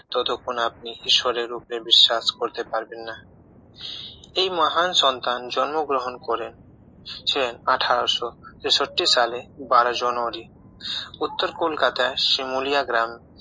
ততক্ষণ আপনি ঈশ্বরের রূপে বিশ্বাস করতে পারবেন না এই মহান সন্তান জন্মগ্রহণ করেন ছেন আঠারোশো তেষট্টি সালে বারো জানুয়ারি উত্তর কলকাতায় শিমুলিয়া গ্রামে